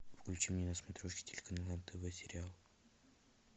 включи мне на смотрешке телеканал нтв сериал